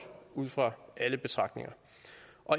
ud fra alle betragtninger